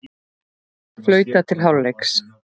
Flautað til hálfleiks